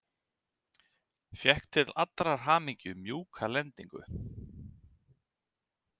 Fékk til allrar hamingju mjúka lendingu.